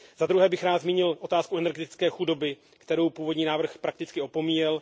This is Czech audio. Za druhé bych rád zmínil otázku energetické chudoby, kterou původní návrh prakticky opomíjel.